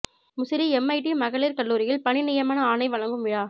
Musiri MIT மகளிர் கல்லூரியில் பணி நியமன ஆணை வழங்கும் விழா